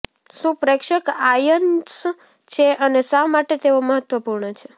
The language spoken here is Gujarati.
શું પ્રેક્ષક આયન્સ છે અને શા માટે તેઓ મહત્વપૂર્ણ છે